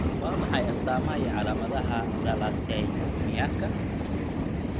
Waa maxay astamaha iyo calaamadaha thalassaemiaka?